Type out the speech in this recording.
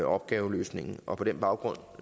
opgaveløsningen på på den baggrund